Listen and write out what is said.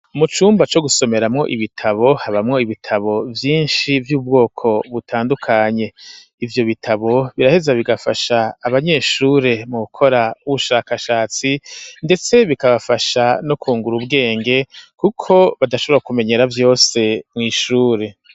Mu cumba co gusomeramwo ibitabo habamwo ibitabo vyishi vy'ubwoko butandukanye ivyo bitabo biraheza bigafasha abanyeshure mu gukora ubushakashatsi ndetse bikabafasha no kungura ubwenge kuko badashobora kumenyera vyose mw'ishure